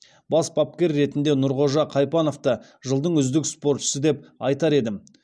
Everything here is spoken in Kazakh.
бас бапкер ретінде нұрғожа қайпановты жылдың үздік спортшысы деп айтар едім